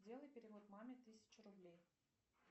сделай перевод маме тысяча рублей